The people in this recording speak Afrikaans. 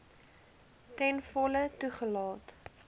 ten volle toegelaat